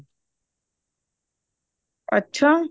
ਅੱਛਾ